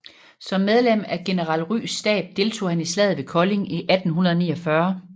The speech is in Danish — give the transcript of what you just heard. Som medlem af general Ryes stab deltog han i Slaget ved Kolding i 1849